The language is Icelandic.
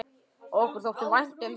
Okkur þótti vænt um það.